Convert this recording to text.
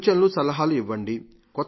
సూచనలు సలహాలు ఇవ్వంజి